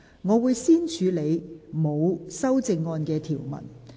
我會先處理沒有修正案的條文。